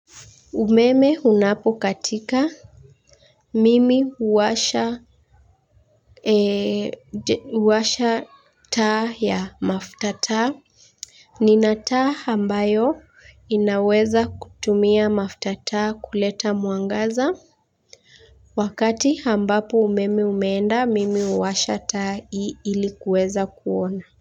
Umeme unapokatika. Mimi huasha. Huwasha taa ya mafuta taa. Nina taa ambayo inaweza kutumia mafuta taa kuleta mwangaza. Wakati ambapo umeme umeenda, mimi huwasha taa ili kuweza kuona.